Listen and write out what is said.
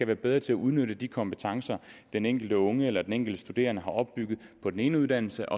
være bedre til at udnytte de kompetencer den enkelte unge eller den enkelte studerende har opbygget på den ene uddannelse